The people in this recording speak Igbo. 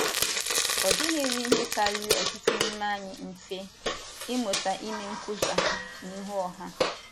Ọ dịghịrị ihe kariri ọtụtụ n’ime anyị mfe, ịmụta ime nkwusa n’ihu ọha.